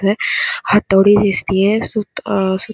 हातोडी दिसतिये सूत अ सूत --